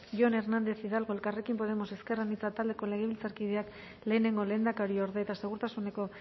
jon hernández hidalgo elkarrekin podemos ezker anitza taldeko legebiltzarkideak lehenengo lehendakariorde eta segurtasuneko